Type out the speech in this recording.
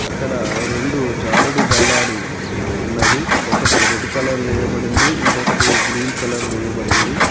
అక్కడ రెండు జారుడు బల్లాలు ఉన్నవి ఒకటి రెడ్ కలర్ వేయబడింది ఇంకొకటి గ్రీన్ కలర్ వేయబడింది.